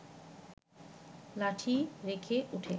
লাঠি রেখে উঠে